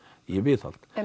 í viðhald